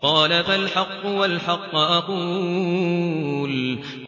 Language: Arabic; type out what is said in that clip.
قَالَ فَالْحَقُّ وَالْحَقَّ أَقُولُ